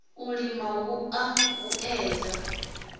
u lima hu a vhuedza